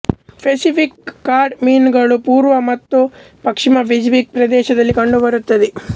Pacific cod ಮೀನುಗಳು ಪೂರ್ವ ಮತ್ತು ಪಶ್ಚಿಮ ಪೆಸಿಫಿಕ್ ಪ್ರದೇಶಗಳಲ್ಲಿ ಕಂಡುಬರುತ್ತವೆ